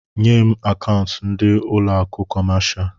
Nyé m akaụntu ndị ụlọ akụ kọmáshá